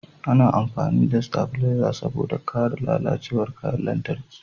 A na amfani da stabileza saboda a kare lalacewar kayan lantarki